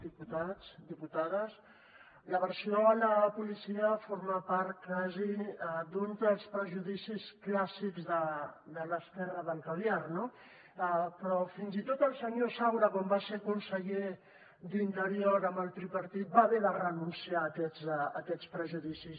diputats diputades l’aversió a la policia forma part gairebé d’un dels prejudicis clàssics de l’esquerra del caviar no però fins i tot el senyor saura quan va ser conseller d’interior amb el tripartit va haver de renunciar a aquests prejudicis